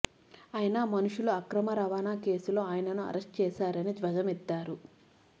అయినా మనుషుల అక్రమ రవాణా కేసులో ఆయనను అరెస్టు చేశారని ధ్వజమెత్తారు